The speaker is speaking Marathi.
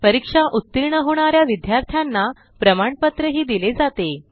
परीक्षा उत्तीर्ण होणाऱ्या विद्यार्थ्यांना प्रमाणपत्र दिले जाते